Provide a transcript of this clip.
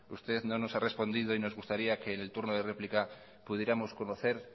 usted no nos ha respondido y nos gustaría que en el turno de réplica pudiéramos conocer